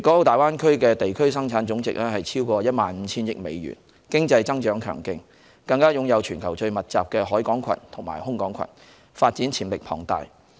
大灣區的地區生產總值超過1萬 5,000 億美元，經濟增長強勁，更擁有全球最密集的海港群和空港群，發展潛力龐大。